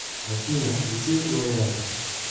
афина включи лояль